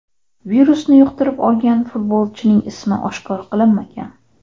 Virusni yuqtirib olgan futbolchining ismi oshkor qilinmagan.